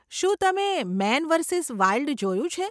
શું તમે Man versus Wild જોયું છે?